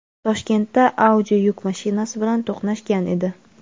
Toshkentda Audi yuk mashinasi bilan to‘qnashgan edi.